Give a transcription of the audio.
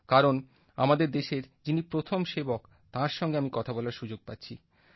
কারণ আমাদের দেশের যিনি প্রথম সেবক তাঁর সঙ্গে আমি কথা বলার সুযোগ পাচ্ছি